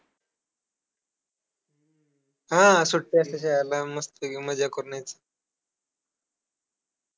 हां, सुट्या असता शाळेला मस्तपैकी मज्जा करून यायचं.